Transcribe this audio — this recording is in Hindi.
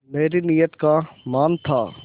मेरी नीयत का मान था